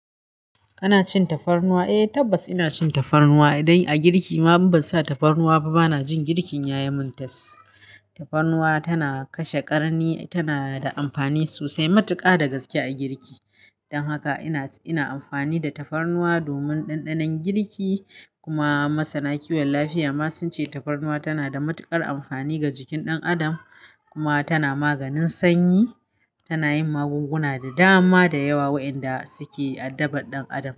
Kana cin tafarnuwa? Eh tabbas ina cin tafarnuwa idan a girki ma ban sa tafarnuwa ba bana jin girkin ya yi muntaz. Tafarnuwa tana kashe ƙarni, tana da amfani sosai matuƙa da gaske a girki. Don haka ina, ina amfani da tafarnuwa domin ɗanɗanon girki kuma masana kiwon lafiya ma sun ce tafarnuwa tana da matuƙar amfani ga jikin ɗan adam. Kuma tana maganin sanyi, tana yin magunguna da dama da yawa waɗanda suke addabar ɗan adam.